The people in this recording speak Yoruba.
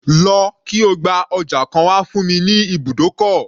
Lọ kí o gba ọjà kan wá fún mi ní ibùdókọ̀.